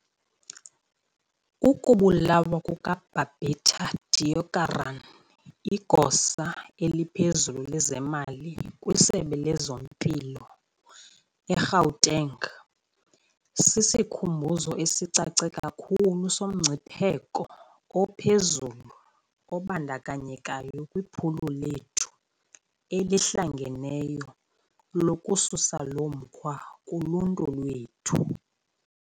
Ukubulawa kuka-Babita Deokaran, igosa eliphezulu lezemali kwisebe lezempilo e-Gauteng, sisikhumbuzo esicace kakhulu somngcipheko ophezulu obandakanyekayo kwiphulo lethu elihlangeneyo lokususa lomkhwa kuluntu lwethu.